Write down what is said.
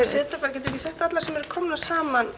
við ekki sett alla sem eru komnir saman